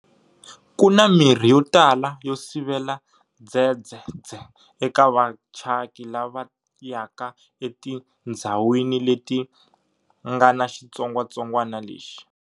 Kuna mirhi yo tala yo sivela Dzedzedze eka vachaki lava yaka etindzhawini leti ngana xitsongwatsongwana lexi.